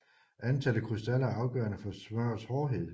Antallet af krystaller er afgørende for smørrets hårdhed